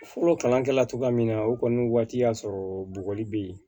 Fɔlɔ kalankɛla min na o kɔni waati y'a sɔrɔ bɔgɔli be yen